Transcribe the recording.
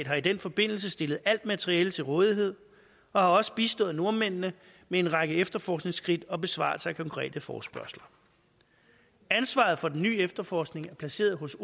har i den forbindelse stillet alt materiale til rådighed og har også bistået nordmændene med en række efterforskningsskridt og besvarelser af konkrete forespørgsler ansvaret for den nye efterforskning er placeret hos